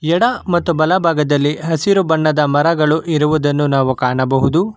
ಎಡ ಮತ್ತು ಬಲಭಾಗದಲ್ಲಿ ಹಸಿರು ಬಣ್ಣದ ಮರಗಳು ಇರುವುದನ್ನು ನಾವು ಕಾಣಬಹುದು.